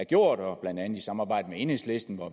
gjort blandt andet i samarbejde med enhedslisten